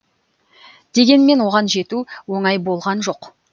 дегенмен оған жету оңай болған жоқ